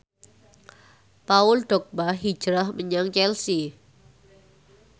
Paul Dogba hijrah menyang Chelsea